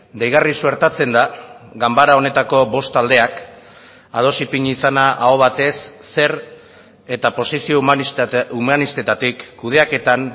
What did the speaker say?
deigarri suertatzen da ganbara honetako bost taldeak ados ipini izana aho batez zer eta posizio humanistetatik kudeaketan